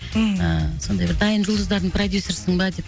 ммм ііі сондай бір дайын жұлдыздардың продюссерісің ба деп